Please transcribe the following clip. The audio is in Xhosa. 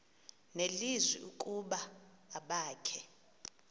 nelizwi ukuba abakhe